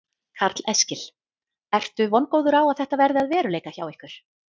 Karl Eskil: Ertu vongóður á að þetta verði að veruleika hjá ykkur?